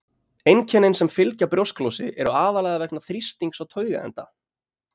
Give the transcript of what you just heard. Einkennin sem fylgja brjósklosi eru aðallega vegna þrýstings á taugaenda.